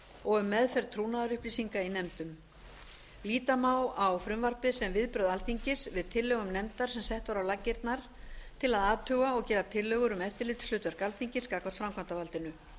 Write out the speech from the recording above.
og um meðferð trúnaðarupplýsinga í nefndum líta má á frumvarpið sem viðbrögð alþingis við tillögum nefndar sem sett var á laggirnar til að athuga og gera tillögur um eftirlitshlutverk alþingis gagnvart framkvæmdarvaldinu